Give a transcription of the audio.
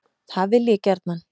Það vil ég gjarnan.